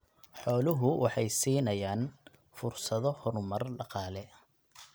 Xooluhu waxay siinayaan fursado horumar dhaqaale.